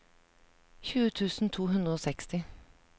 tjue tusen to hundre og seksti